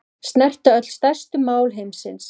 Snerta öll stærstu mál heimsins